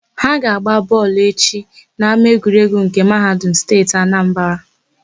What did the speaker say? Ha ga-agba bọọlụ echi n'ámáegwuregwu nke Mahadum Steeti Anambara.